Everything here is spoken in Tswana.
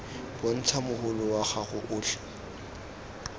bontsha mogolo wa gago otlhe